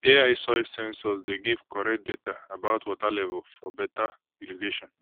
ai soil sensors dey give correct data about water level for better irrigation